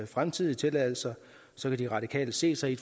fremtidige tilladelser så kan de radikale se sig i